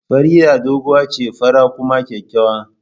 Farida doguwa ce, fara kuma kyakkyawa